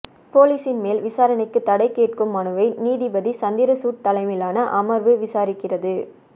போலீசின் மேல் விசாரணைக்கு தடை கேட்கும் மனுவை நீதிபதி சந்திரசூட் தலைமையிலான அமர்வு விசாரிக்கிறது